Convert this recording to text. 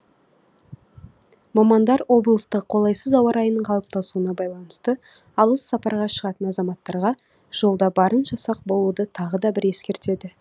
мамандар облыста қолайсыз ауа райының қалыптасуына байланысты алыс сапарға шығатын азаматтарға жолда барынша сақ болуды тағы да бір ескертеді